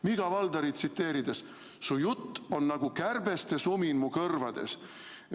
Mika Waltarit tsiteerides: su jutt on nagu kärbeste sumin mu kõrvades.